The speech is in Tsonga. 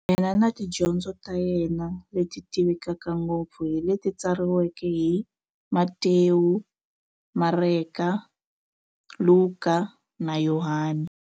Yena na tidyondzo ta yena, leti tivekaka ngopfu hi leti tsariweke hi-Matewu, Mareka, Luka, na Yohani.